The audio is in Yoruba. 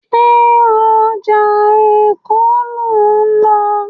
Ṣé ọjà Èkó lò ń lọ?